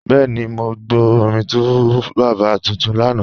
Bẹẹni, mọ́ gbọ́ orin 2Baba tuntun lánà.